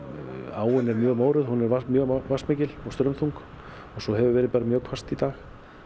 áin er mjög mórauð hún er mjög vatnsmikil og straumþung og svo hefur bara verið mjög hvasst í dag